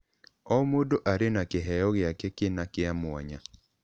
O mũndũ arĩ na kĩheo gĩake kĩna kĩa mwanya.